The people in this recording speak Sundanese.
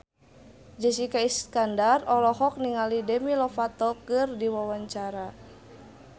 Jessica Iskandar olohok ningali Demi Lovato keur diwawancara